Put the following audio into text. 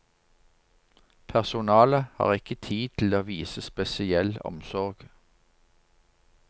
Personalet har ikke tid til å vise spesiell omsorg.